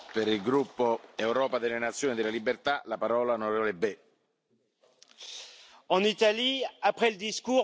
Monsieur le Président, en Italie, après le discours, voilà les actes!